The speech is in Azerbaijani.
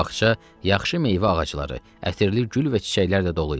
Bu bağça yaxşı meyvə ağacları, ətirli gül və çiçəklərlə dolu idi.